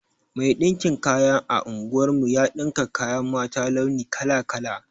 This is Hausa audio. Mai ɗinkin kaya a unguwar mu ya ɗinka kayan mata launi kala-kala.